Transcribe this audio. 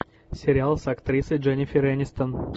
сериал с актрисой дженнифер энистон